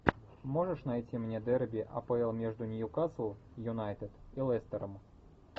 можешь найти мне дерби апл между ньюкасл юнайтед и лестером